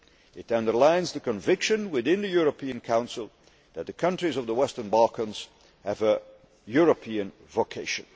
It underlines the conviction within the European Council that the countries of the Western Balkans have a European vocation.